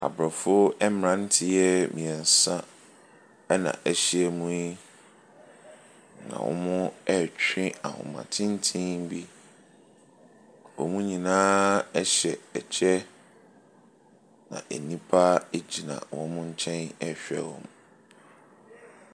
Aborɔfo mmeranteɛ mmeɛnsa na ahyia mu yi, na wɔretwe ahoma tenten bi. Wɔn nyinaa hyɛ kyɛ, na nnipa gyina wɔn nkyɛn rehwɛ wɔn.